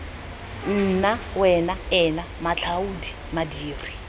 nna wena ena matlhaodi madiri